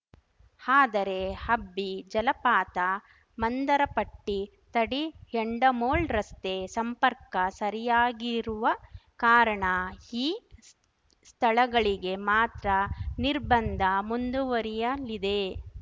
ಆದರೆ ಅಬ್ಬಿ ಜಲಪಾತ ಮಾಂದರಪಟ್ಟಿ ತಡಿಯಂಡಮೋಳ್‌ ರಸ್ತೆ ಸಂಪರ್ಕ ಸರಿಯಾಗಿರುವ ಕಾರಣ ಈ ಸ್ಥಳಗಳಿಗೆ ಮಾತ್ರ ನಿರ್ಬಂಧ ಮುದುವರಿಯಲಿದೆ